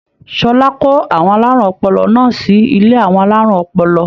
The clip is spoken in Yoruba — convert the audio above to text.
Ṣọlá kó àwọn alárùn ọpọlọ náà sí ilé àwọn alárùn ọpọlọ.